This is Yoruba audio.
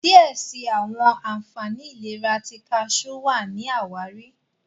diẹ síi àwọn ànfàní ìlera ti kajú wá ní àwáàrí.